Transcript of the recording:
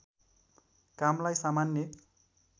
कामलाई सामान्य